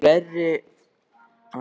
Eru fleiri reynsluboltar í liðinu?